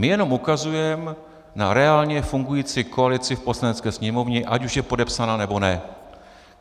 My jenom ukazujeme na reálně fungující koalici v Poslanecké sněmovně, ať už je podepsaná, nebo ne.